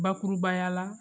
Bakurubaya la